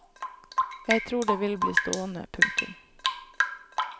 Jeg tror det vil bli stående. punktum